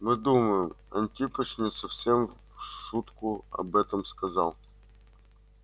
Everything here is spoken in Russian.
мы думаем антипыч не совсем в шутку об этом сказал